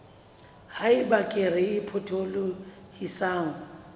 ha eba kere e potolohisang